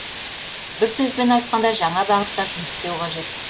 бір сөзбен айтқанда жаңа бағытта жұмыс істеу қажет